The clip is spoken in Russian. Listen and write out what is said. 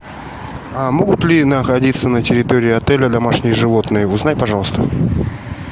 а могут ли находиться на территории отеля домашние животные узнай пожалуйста